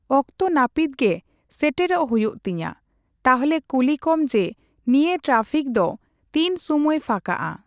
ᱚᱠᱛᱚ ᱱᱟᱯᱤᱛ ᱜᱮ ᱥᱮᱴᱮᱨᱚᱜ ᱦᱩᱭᱩᱜ ᱛᱤᱧᱟ ᱾ ᱛᱟᱦᱞᱮ ᱠᱩᱞᱤ ᱠᱚᱢ ᱡᱮ ᱱᱤᱭᱟᱹ ᱴᱨᱟᱯᱷᱤᱠ ᱫᱚ ᱛᱤᱱ ᱥᱩᱢᱟᱹᱭ ᱯᱷᱟᱸᱠᱟᱜᱼᱟ ?